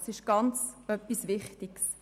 Dies ist äusserst wichtig.